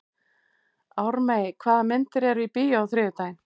Ármey, hvaða myndir eru í bíó á þriðjudaginn?